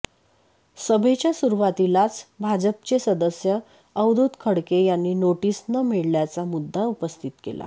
सभेच्या सुरुवातीलाच भाजपचे सदस्य अवधूत खडके यांनी नोटीस न मिळाल्याचा मुद्दा उपस्थित केला